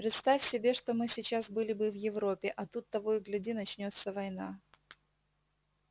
представь себе что мы сейчас были бы в европе а тут того и гляди начнётся война